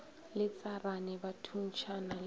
le tsarane ba thuntšhana le